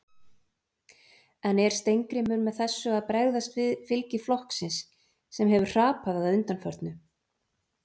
En er Steingrímur með þessu að bregðast við fylgi flokksins sem hefur hrapað að undanförnu?